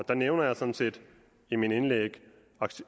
der nævner jeg sådan set i mit indlæg